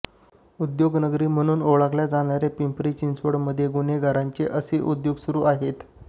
उद्योग नगरी म्हणून ओळखल्या जाणाऱ्या पिंपरी चिंचवडमध्ये गुन्हेगारांचे असे उद्योग सुरु आहेत